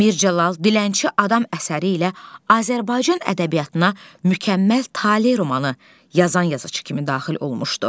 Mir Cəlal Ddilənçi Adam əsəri ilə Azərbaycan ədəbiyyatına mükəmməl Tale romanı yazan yazıçı kimi daxil olmuşdu.